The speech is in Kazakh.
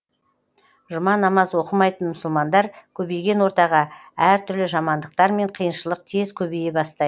жұма намаз оқымайтын мұсылмандар көбейген ортаға әртүрлі жамандықтар мен қиыншылық тез көбейе бастайды